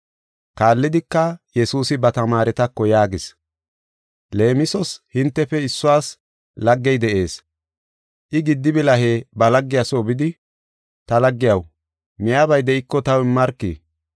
Kaallidika, Yesuusi ba tamaaretako yaagis: “Leemisos hintefe issuwas laggey de7ees. I giddi bilahe ba laggiya soo bidi, ‘Ta laggiyaw, miyabay de7iko taw immarki.